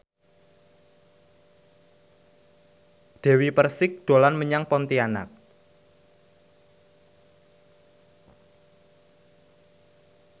Dewi Persik dolan menyang Pontianak